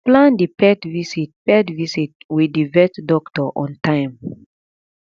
plan di pet visit pet visit with di vet doctor on time